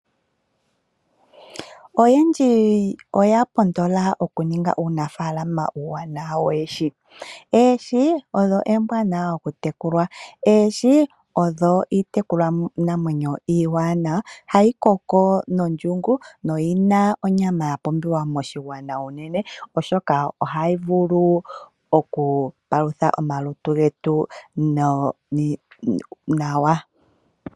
Oyendji oya pondola okuninga uunafalama uuwanawa woohi. Oohi odho ombwanawa oku tekulwa, ohii odho iitekulwa namwenyo iiwamawa ha yi koko nondjungu noyina onyama ya pumbiwa moshigwana uunene oshoka oha yi vulu okupalutha omalutu getu nawa.